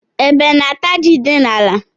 Ébé na -ata jị dị n'ala.